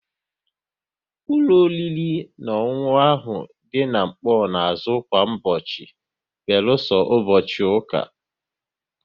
Ụlọ oriri na ọṅụṅụ ahụ dị n'Nkpor na azụ kwa ụbọchị beluso ụbọchị ụka